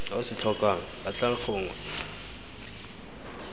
o se tlhokang batlang gongwe